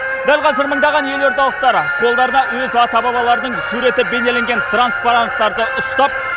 дәл қазір мыңдаған елордалықтар қолдарына өз ата бабаларының суреті бейнеленген транспоранттарды ұстап